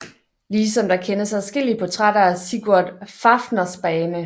Ligesom der kendes adskillige portrætter af Sigurd Fafnersbane